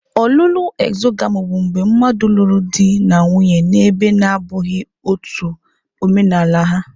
Ọlụlụ exogami bụ mgbe mmadụ lụrụ di na nwunye na ebe na-abụghị ọtú omenaala ha.